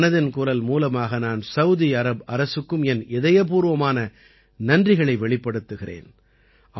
மனதின் குரல் மூலமாக நான் சவூதி அரப் அரசுக்கும் என் இதயபூர்வமான நன்றிகளை வெளிப்படுத்துகிறேன்